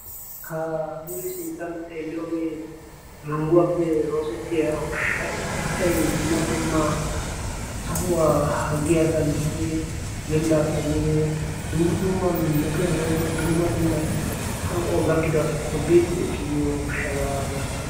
ha nuuri sinttan xeeliyoogee mangguwaappe roosettiya ushshai asai dumma dumma sohuwaa harggi asaa giddi yelida asaa giibee dumma dumma metuwan woyko dumma dumma hanqqo gakkido asatuppe biiddi ekki biyo ushshabaa masatii?